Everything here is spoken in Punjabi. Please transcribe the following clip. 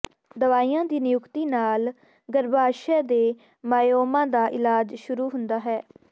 ਦਵਾਈਆਂ ਦੀ ਨਿਯੁਕਤੀ ਨਾਲ ਗਰੱਭਾਸ਼ਯ ਦੇ ਮਾਇਓਮਾ ਦਾ ਇਲਾਜ ਸ਼ੁਰੂ ਹੁੰਦਾ ਹੈ